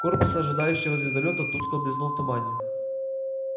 корпус ожидающего звездолёта тускло блеснул в тумане